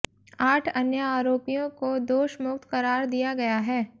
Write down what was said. आठ अन्य आरोपियों को दोषमुक्त करार दिया गया है